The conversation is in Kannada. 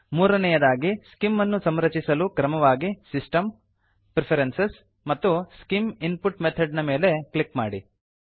ಮೂರನೇಯದಾಗಿ ಸ್ಕಿಮ್ ಅನ್ನು ಸಂರಚಿಸಲು ಕ್ರಮವಾಗಿ ಸಿಸ್ಟಮ್ ಪ್ರೆಫರೆನ್ಸಸ್ ಮತ್ತು ಸ್ಕಿಮ್ ಇನ್ಪುಟ್ ಮೆಥಾಡ್ ನ ಮೇಲೆ ಕ್ಲಿಕ್ ಮಾಡಿ